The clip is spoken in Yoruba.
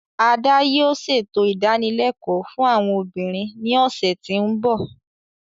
Ada yoo ṣeto idanilẹkọ fun awọn obinrin ni ọsẹ ti n bọ.